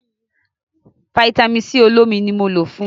Vitamin-c olómi ni mo lò fun.